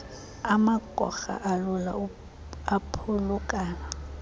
amagorha alula aphulukana